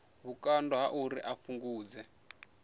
vhukando ha uri a fhungudze